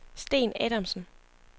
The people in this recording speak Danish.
Sten Adamsen